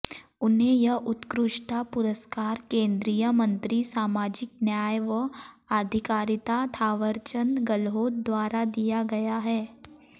उन्हें यह उत्कृष्टता पुरस्कार केंद्रीय मंत्री सामाजिक न्याय व आधिकारिता थावरचंद गहलोत द्वारा दिया गया